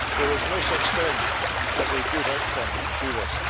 There is no such thing as a good outcome to this.